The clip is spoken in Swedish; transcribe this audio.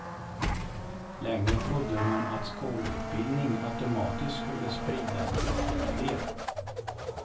Länge trodde man att skolutbildning automatiskt skulle spridas till allt fler.